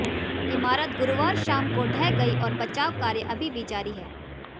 इमारत गुरुवार शाम को ढह गई और बचाव कार्य अभी भी जारी है